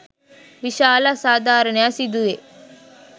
විශාල අසාධාරණයක් සිදු වේ